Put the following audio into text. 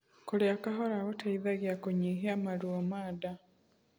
Kurĩa kahora gũteithagia kunyihia maruo ma ndaa